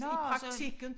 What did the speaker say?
I praktikken